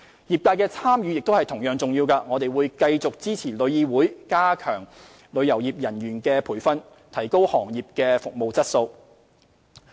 業界的參與同樣重要，我們會繼續支持旅議會加強旅遊業人員的培訓，提高行業服務質素。